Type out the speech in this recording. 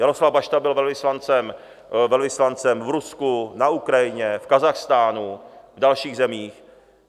Jaroslav Bašta byl velvyslancem v Rusku, na Ukrajině, v Kazachstánu, v dalších zemích.